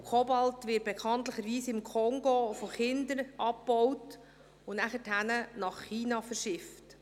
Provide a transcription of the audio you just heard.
Kobalt wird bekanntlich im Kongo von Kindern abgebaut und danach nach China verschifft.